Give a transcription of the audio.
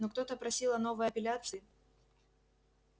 но ктото просил о новой апелляции